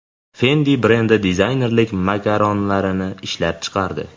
Fendi brendi dizaynerlik makaronlarini ishlab chiqardi.